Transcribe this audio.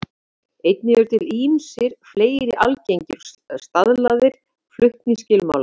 Einnig eru til ýmsir fleiri algengir og staðlaðir flutningsskilmálar.